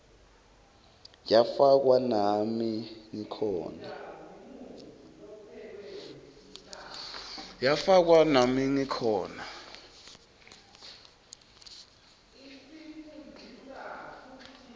yafakwa nami ngikhona